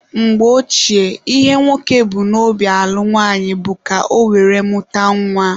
Mgbe Ochie, ihe nwoke bu n'obi alụ nwaanyị bụ ka ọ were mụta nwa.